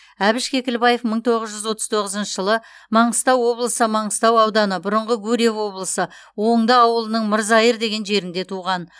әбіш кекілбаев мың тоғыз жүз отыз тоғызыншы жылы маңғыстау облысы маңғыстау ауданы бұрынғы гурьев облысы оңды ауылының мырзайыр деген жерінде туған